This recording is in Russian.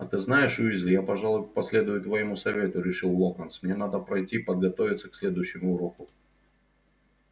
а ты знаешь уизли я пожалуй последую твоему совету решил локонс мне надо пройти подготовиться к следующему уроку